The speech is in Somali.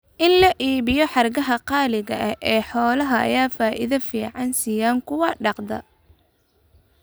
In la iibiyo hargaha qaaliga ah ee xoolaha ayaa faa'iido fiican siiya kuwa dhaqda.